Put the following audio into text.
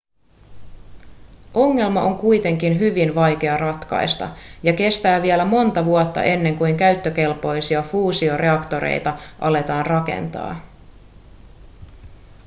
ongelma on kuitenkin hyvin vaikea ratkaista ja kestää vielä monta vuotta ennen kuin käyttökelpoisia fuusioreaktoreita aletaan rakentaa